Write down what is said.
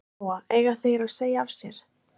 Lóa: Eiga þeir að segja af sér?